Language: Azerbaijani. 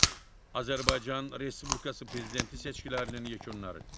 Azərbaycan Respublikası prezidenti seçkilərinin yekunları.